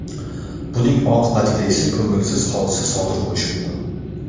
buning oqibatida esa ko‘ngilsiz hodisa sodir bo‘lishi mumkin.